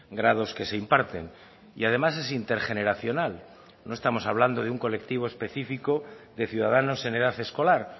grados que se imparten y además es intergeneracional no estamos hablando de un colectivo específico de ciudadanos en edad escolar